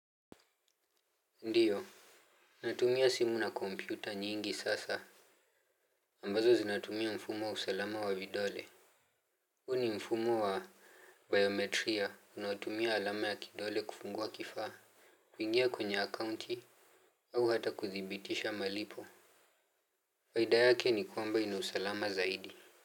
Ndiyo. Natumia simu na kompyuta nyingi sasa ambazo zinatumia mfumo wa usalama wa vidole. Huu ni mfumo wa bayometria unaotumia alama ya kidole kufungua kifaa kuingia kwenye akaunti au hata kuthibitisha malipo kawaidayake ni kwamba ina usalama zaidi.